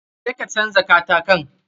Je ka canja katakin.